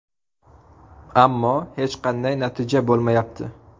Ammo hech qanday natija bo‘lmayapti.